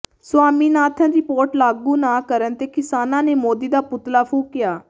Swaminathan report ਲਾਗੂ ਨਾ ਕਰਨ ਤੇ ਕਿਸਾਨਾਂ ਨੇ ਮੋਦੀ ਦਾ ਪੁਤਲਾ ਫੂਕਿਆ